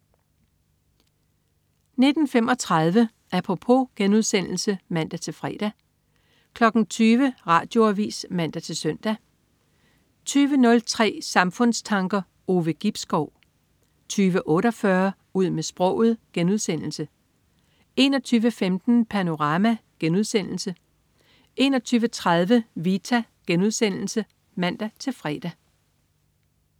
19.35 Apropos* (man-fre) 20.00 Radioavis (man-søn) 20.03 Samfundstanker. Ove Gibskov 20.48 Ud med sproget* 21.15 Panorama* 21.30 Vita* (man-fre)